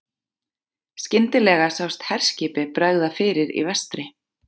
Skyndilega sást herskipi bregða fyrir í vestri.